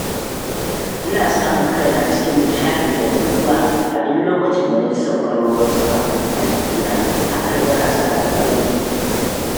Ina samun kaina cikin nishaɗi da nutsuwa a duk lokacin da na ji sauƙar ruwan sama a jikina, hakan yana sani farin ciki.